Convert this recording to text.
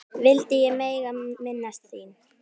vildi ég mega minnast þín.